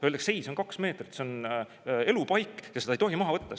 Öeldakse: "Ei, see on kaks meetrit, see on elupaik ja seda ei tohi maha võtta.